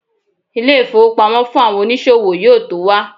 ilé ifowópamọ́ fún àwọn onísòwò yíò to wa